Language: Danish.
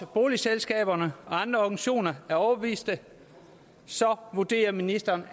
boligselskaberne og andre organisationer er overbeviste så vurderer ministeren